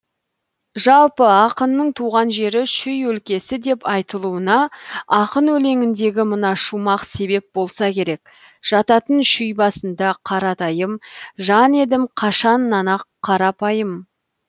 жалпы ақынның туған жері шүй өлкесі деп айтылуына ақын өлеңіндегі мына шумақ себеп болса керек жататын шүй басында қаратайым жан едім қашаннан ақ қарапайым